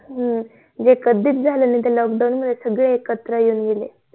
हम्म जे कधी च झालं नई ते lockdown मध्ये सगळे एकत्र येऊन गेले.